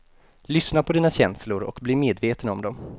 Lyssna på dina känslor och bli medveten om dem.